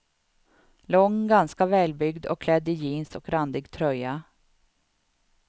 Lång, ganska välbyggd och klädd i jeans och randig tröja.